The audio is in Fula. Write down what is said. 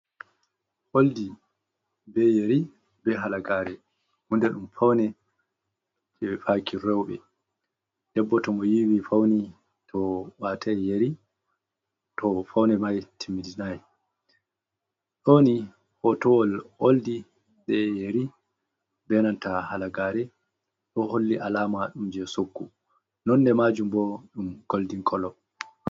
Oldi be yeri be halagare, hunde ɗum faune je faki roɓe debbo to mo yiwi fauni to watai yari to faune mai timmitinai ɗoni hotowol oldi be yari be nanta halagare, ɗo holli alama ɗum je soggu, nonne majum bo ɗum goldin kolo.